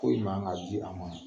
Ko ni man o man ye ji d'an ma